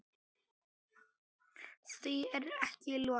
Því er ekki lokið.